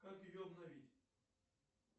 как ее обновить